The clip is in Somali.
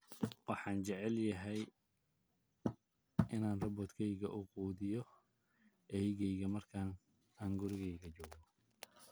Waxaan jeclaan lahaa in robot-kaygu uu quudiyo eygeyga marka aanan guriga joogin